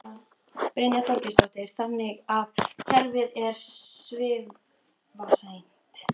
Brynja Þorgeirsdóttir: Þannig að kerfið er svifaseint?